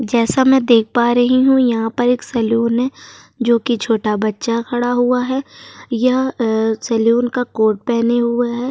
जैसा मैं देख पा रही हूं यहां पर एक सैलून है जोकि छोटा बच्चा खड़ा हुआ है। यह अ सैलून का कोट पहने हुए है।